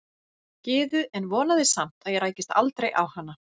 Gyðu en vonaði samt að ég rækist aldrei á hana.